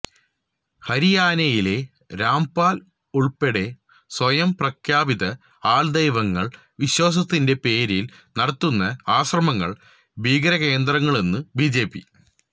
ഹരിയാനയിലെ രാംപാല് ഉള്പ്പെടെ സ്വയം പ്രഖ്യാപിത ആള്ദൈവങ്ങള് വിശ്വാസത്തിന്റെ പേരില് നടത്തുന്ന ആശ്രമങ്ങള് ഭീകരകേന്ദ്രങ്ങളെന്നു ബിജെപി